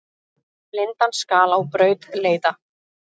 Blindan skal á braut leiða.